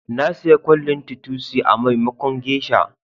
Na saya kwallin titusi,a maimakon geisha.